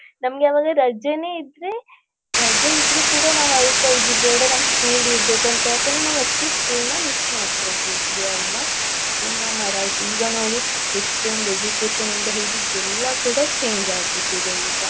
ನಮ್ಗೆ ಆವಾಗ ರಜೆನೇ ಇದ್ರೆ ರಜೆ ಇದ್ರೆ ಕೂಡ ನಾವ್ ಅಳ್ತಾ ಇದ್ವಿ ಬೇಡ ನಮ್ಗೆschool ಇರಬೇಕಂತೇಳಿ ಯಾಕಂದ್ರೆ ನಾವ್ ಅಷ್ಟು schoolನ miss ಮಾಡ್ಕೊತಿದ್ವಿ ಅಲ್ವ, ಏನೋ ಮಾರೈತಿ ಈಗ ನೋಡು ಎಷ್ಟೊಂದ್ education ಇಂದ ಹಿಡ್ದು ಎಲ್ಲ ಕೂಡ change ಆಗ್ಬಿಟ್ಟಿದೆ ಈಗ.